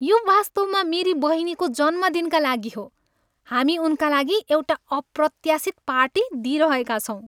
यो वास्तवमा मेरी बहिनीको जन्मदिनका लागि हो। हामी उनका लागि एउटा अप्रत्याशित पार्टी दिइरहेका छौँ।